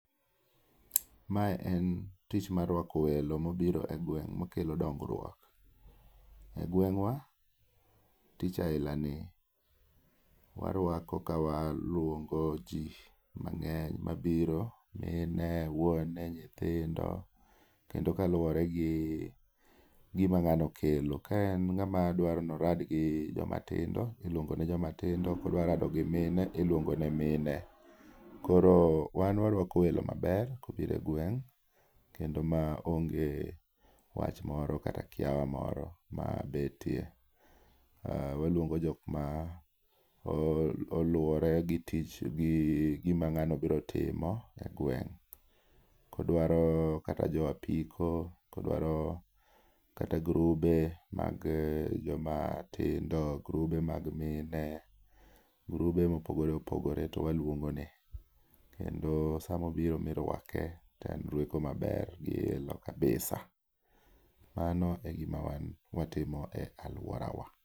Mae en tich mar rwako welo ma obiro e gweng' makelo dongruok. E gweng'wa tich ailani waruako ka waluongoji mang'eny mabiro, mine, wuone, nyithindo kendo kaluwore gi gima ng'ano kelo. Ka en ng'ama dwaro ni orad gi jomatindo, iluongo ne joma tindo ka odwa ni orad gi mine, iluongo ne mine. Koro wan waruako welo maber ka obiro e gweng' kendo mao nge wach moro kata kiawa moro mabetie. Waluongo jok ma oluwore gi tich gi gima ng'ano biro timo e gweng'. Ka odwaro kata jo apiko, ka odwaro kata grube mag jomatindo, grube mag mine, grube ma opogore opogore to waluongone. Kendo sama obiro ma irwake to en rweko maber man gi ilo kabisa.